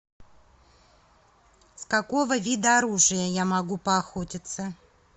с какого вида оружия я могу поохотиться